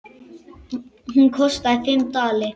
Hún kostaði fimm dali.